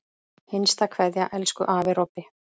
HINSTA KVEÐJA Elsku afi Robbi.